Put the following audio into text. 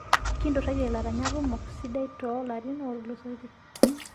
Kinturaitie laranyak kumok sidai too larin ootulusoitie.